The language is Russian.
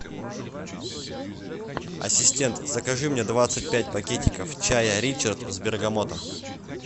ассистент закажи мне двадцать пять пакетиков чая ричард с бергамотом